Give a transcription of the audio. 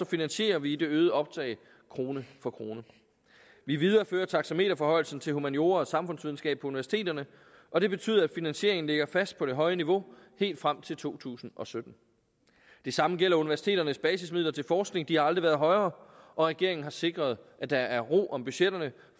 finansierer vi det øgede optag krone for krone vi viderefører taxameterforhøjelsen til humaniora og samfundsvidenskab på universiteterne og det betyder at finansieringen ligger fast på det høje niveau helt frem til to tusind og sytten det samme gælder universiteternes basismidler til forskning de har aldrig været højere og regeringen har sikret at der er ro om budgetterne